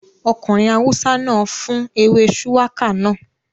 Ọkùnrin awúsá náà fún ewé shùwákà náà